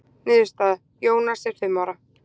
Niðurstaða: Jónas er fimm ára.